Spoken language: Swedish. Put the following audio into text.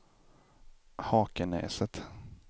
Hakenäset